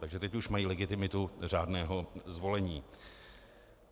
Takže teď už mají legitimitu řádného zvolení.